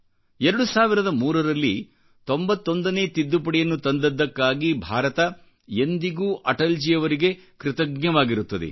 2003 ರಲ್ಲಿ 91ನೇ ತಿದ್ದುಪಡಿಯನ್ನು ತಂದದ್ದಕ್ಕಾಗಿ ಭಾರತ ಎಂದಿಗೂ ಅಟಲ್ಜಿಯವರಿಗೆ ಕೃತಜ್ಞವಾಗಿರುತ್ತದೆ